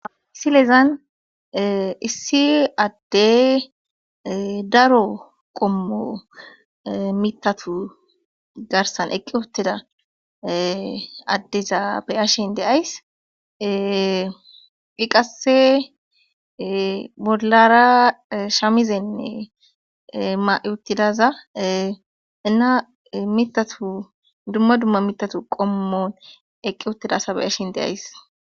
asilezan issi addey daro qommo mitatu garsan eqqi wotteda addeza be ashin deays dhiqase bollara shamizenne ma7i uttidaza ina mitatu dumma dumma mitatu qommon eqqi otteda asa be ashin deays